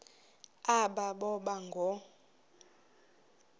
aba boba ngoo